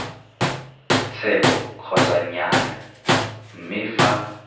tsheko kgotsa nnyaya mme fa